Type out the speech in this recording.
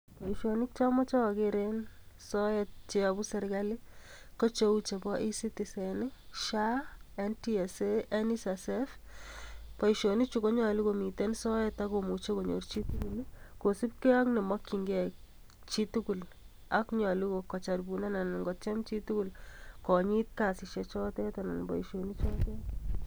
Boisionik che omoche oger en soet che yobu serkalit ko cheu chebo: E-Citizen, SHA, NTSA, NSSF. Boisionichu konyolu komiten soet ak komuche konyor chi tugul. kosibge ak nemokinge chitugul ak nyolu kotyem chitugul konyit kasisiek choto.